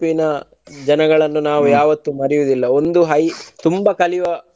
ಜನಗಳನ್ನ ಯಾವತ್ತೂ ಮಾರಿಯುವುದಿಲ್ಲ ಒಂದು high ತುಂಬಾ ಕಲಿಯುವ.